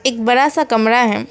एक बड़ा सा कमरा है।